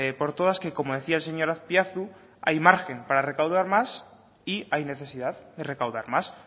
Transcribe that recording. por todas que como decía el señor azpiazu hay margen para recaudar más y hay necesidad de recaudar más